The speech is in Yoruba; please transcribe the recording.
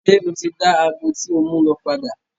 Ṣe o ti da agọ ti o mu lọ padà?